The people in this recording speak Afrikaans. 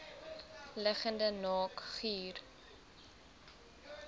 liggende naak guur